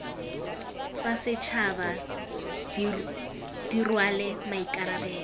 tsa setšhaba di rwale maikarabelo